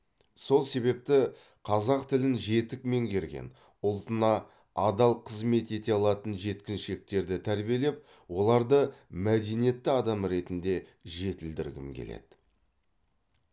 сол себепті қазақ тілін жетік меңгерген ұлтына адал қызмет ете алатын жеткіншектерді тәрбиелеп оларды мәдениетті адам ретінде жетілдіргім келеді